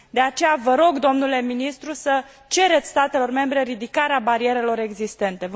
De aceea, vă rog, domnule ministru, să cereți statelor membre ridicarea barierelor existente